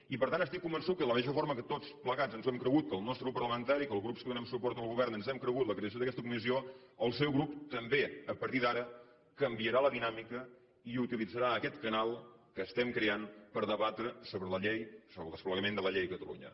i per tant estic convençut que de la mateixa forma que tots plegats ens ho hem cregut que el nostre grup parlamentari que els grups que donem suport al govern ens hem cregut la creació d’aquesta comissió el seu grup també a partir d’ara canviarà la dinàmica i utilitzarà aquest canal que estem creant per debatre sobre la llei sobre el desplegament de la llei a catalunya